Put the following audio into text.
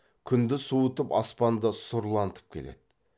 күнді суытып аспанды сұрлантып келеді